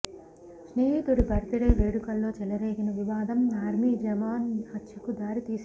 స్నేహితుడి birthday వేడుకల్లో చెలరేగిన వివాదం ఆర్మీ జవాన్ హత్యకు దారి తీసింది